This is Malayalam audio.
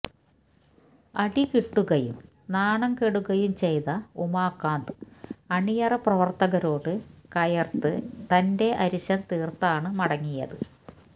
അടികിട്ടുകയും നാണം കെടുകയും ചെയ്ത ഉമാകാന്ത് അണിയറ പ്രവര്ത്തകരോട് കയര്ത്ത് തന്റെ അരിശം തീര്ത്താണ് മടങ്ങിയത്